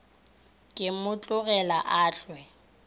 ke mo tlogela a ehwa